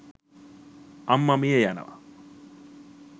අම්ම මිය යනව.